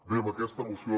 bé aquesta moció